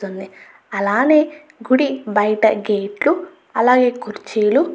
కనిపిస్తుంది. అలాగే గుడి బయట గేట్లు అలాగే కుర్చీలు --